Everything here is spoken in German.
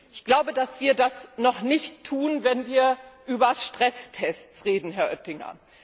Ich glaube, dass wir das noch nicht tun, wenn wir über Stresstests reden, Herr Oettinger.